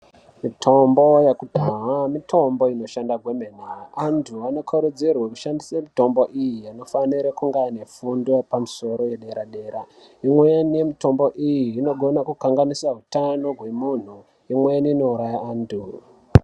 Mitombo yakudhaya mitombo inoshanda kwemene antu anokurudzirwe kushandise mitombo iyi anofanire kunge anefundo pamusoro yedera-dera. Imweni yemitombo iyi inogona kukanganisa hutano hwemuntu, imweni inouraya antu.